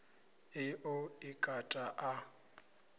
ḽi ḓo i kata a